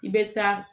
I bɛ taa